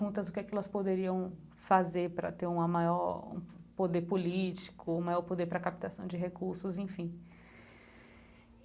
juntas do que elas poderiam fazer para ter uma maior um poder político, o maior poder para a captação de recursos, enfim.